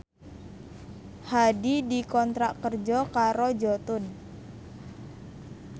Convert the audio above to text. Hadi dikontrak kerja karo Jotun